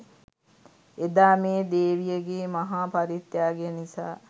එදා මේ දේවියගේ මහා පරිත්‍යාගය නිසා